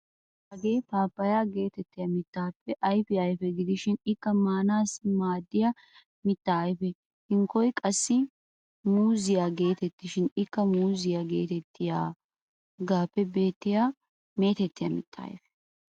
Hagee paappayyaa geetettiya mittaappe ayfiya ayfe gidishin ikka maanaassi maaddiya mitta ayfe. Hankkoy qassi muuzziya geetettishin ikka muuzziya geetettiyagaappe beettiyogan meetettiya mitta ayfe.